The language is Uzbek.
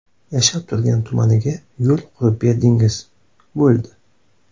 Yashab turgan tumaniga yo‘l qurib berdingiz, bo‘ldi.